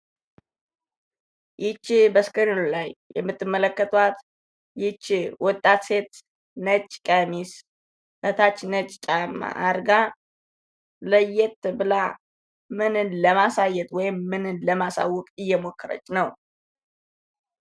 ይች በስክሪኑ ላይ የምትመለከቷት ይች ወጣት ሴት ነጭ ቀሚስ ከታች ነጭ ጫማ አርጋ ለየት ብላ ምንን ለማሳየት ወይም ምንን ለማሳወቅ እየሞከረች ነው?